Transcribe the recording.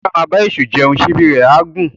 Ẹní bá ma bá èṣù jeun ṣíbí ẹ̀ á gùn